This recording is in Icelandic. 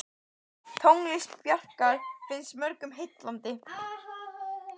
Tónlist Bjarkar finnst mörgum heillandi.